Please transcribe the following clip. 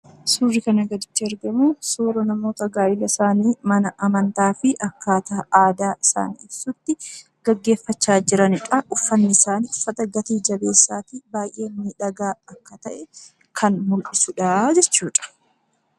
Suurri kana gaditti argamu suura namoota gaa'ela isaanii mana amantaa fi akkaataa aadaa isaan ibsutti gaggeeffachaa jiraniidha. Uffanni isaanii uffata gati-jabeessaa fi baay'ee miidhagaa akka ta'e kan mul'isuudha jechuudha.